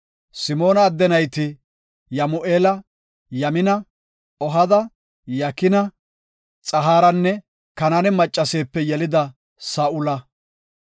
Simoona adde nayti Yamu7eela, Yamina, Ohada, Yakina, Xohaaranne Kanaane maccaseepe yelida Saa7ula.